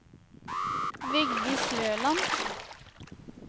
Vigdis Løland